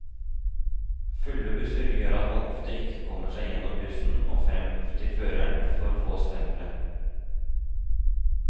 Fulle busser gjør at man ofte ikke kommer seg gjennom bussen og frem til føreren for å få stemplet.